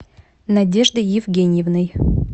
надеждой евгеньевной